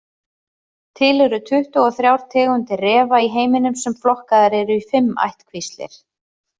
Til eru tuttugu og þrjár tegundir refa í heiminum sem flokkaðar eru í fimm ættkvíslir.